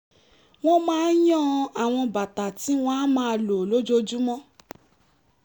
wọ́n máa ń yan àwọn bàtà tí wọ́n á máa lò lójoojúmọ́